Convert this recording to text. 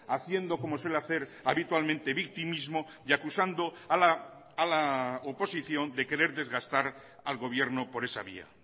haciendo como suele hacer habitualmente victimismo y acusando a la oposición de querer desgastar al gobierno por esa vía